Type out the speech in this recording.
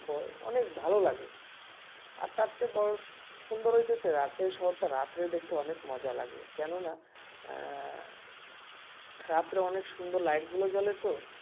অনেক ভালো লাগে আর তার চেয়ে বড় সুন্দর হচ্ছে রাজশাহী শহরটা রাত্রে দেখতে অনেক মজা লাগে কেননা আহ রাত্রে অনেক সুন্দর লাইটগুলো জ্বলে তো